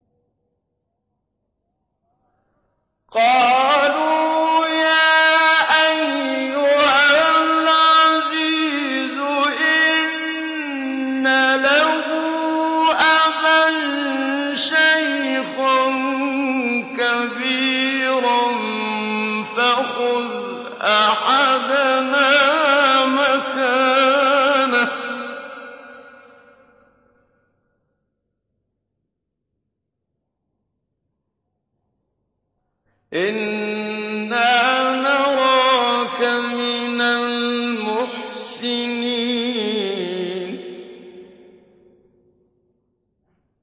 قَالُوا يَا أَيُّهَا الْعَزِيزُ إِنَّ لَهُ أَبًا شَيْخًا كَبِيرًا فَخُذْ أَحَدَنَا مَكَانَهُ ۖ إِنَّا نَرَاكَ مِنَ الْمُحْسِنِينَ